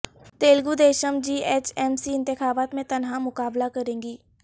Telugu Desam G H M C انتخابات میں تنہا مقابلہ کرے گی